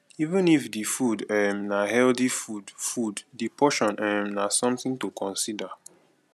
even if di food um na healthy food food di portion um na something to consider